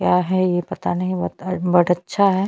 क्या है ये पता नहीं बट अट बट अच्छा है।